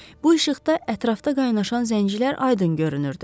Bu işıqda ətrafda qaynaşan zəncirlər aydın görünürdü.